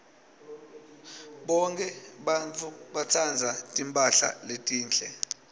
bonkhe bantfu batsandza timphahla letinhle